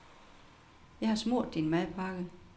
Jeg har smurt din madpakke.